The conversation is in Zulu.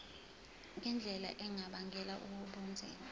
ngendlela engabangela ubunzima